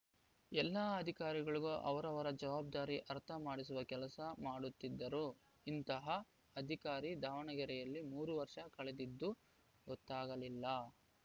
ಎಲ್ಲಾ ಅಧಿಕಾರಿಗಳಿಗೂ ಅವರವರ ಜವಾಬ್ಧಾರಿ ಅರ್ಥ ಮಾಡಿಸುವ ಕೆಲಸ ಮಾಡುತ್ತಿದ್ದರು ಇಂತಹ ಅಧಿಕಾರಿ ದಾವಣಗೆರೆಯಲ್ಲಿ ಮೂರು ವರ್ಷ ಕಳೆದಿದ್ದು ಗೊತ್ತಾಗಲಿಲ್ಲ